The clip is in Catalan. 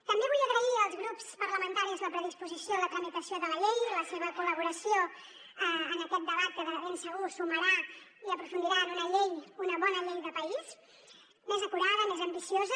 també vull agrair als grups parlamentaris la predisposició a la tramitació de la llei i la seva col·laboració en aquest debat que de ben segur sumarà i aprofundirà en una llei una bona llei de país més acurada més ambiciosa